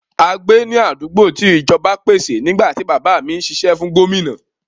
A gbé ní àdúgbò tí ìjọba pèsè nígbà tí bàbá mí ń sisẹ́ fún Gómìnà.